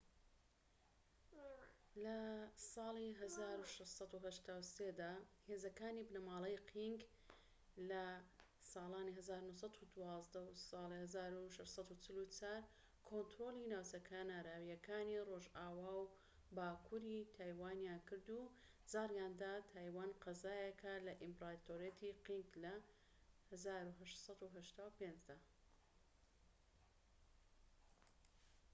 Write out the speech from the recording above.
لە ١٦٨٣ دا هێزەکانی بنەماڵەی قینگ ١٦٤٤-١٩١٢ کۆنترۆلی ناوچە کەناراویەکانی رۆژئاوا و باكوور ی تایوانیان کرد و جاریاندا تایوان قەزایەکە لە ئیمپراتۆریەتی قینگ لە ١٨٨٥ دا